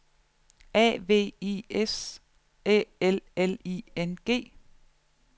A V I S Æ L L I N G